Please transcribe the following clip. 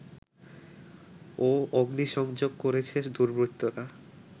ও অগ্নিসংযোগ করেছে দুর্বৃত্তরা